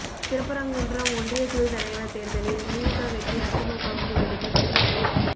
திருப்பரங்குன்றம் ஒன்றியக்குழுத் தலைவா் தோ்தலில் திமுக வெற்றி அதிமுகவுக்கு விழுந்த திமுக வாக்கு